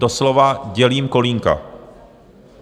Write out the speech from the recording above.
Doslova dělím kolínka.